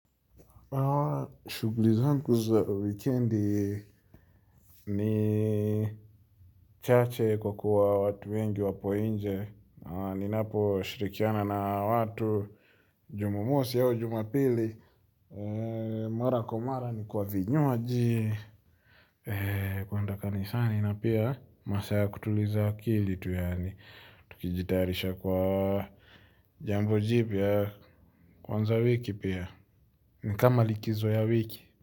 Shughuli zangu za wikendi ni chache kwa kuwa watu wengi wapo nje. Ninapo shirikiana na watu, jumamosi au jumapili, mara kwa mara ni kwa vinywaji. Kwenda kanisani na pia masaa ya kutuliza akili tu yaani tukijitayarisha kwa jambo jipya kuanza wiki pia. Ni kama likizo ya wiki.